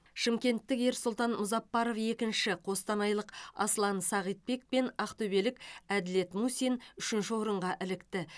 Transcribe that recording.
шымкенттік ерсұлтан мұзаппаров екінші қостанайлық аслан сағитбек пен ақтөбелік әділет мусин үшінші орынға ілікті